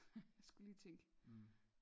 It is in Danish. Jeg skulle lige tænke